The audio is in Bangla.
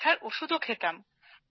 ব্যথার ওষুধ খেতাম